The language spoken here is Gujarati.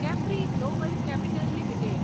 Capri Global Capital limited